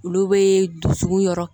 Olu bɛ dusukun yɔrɔ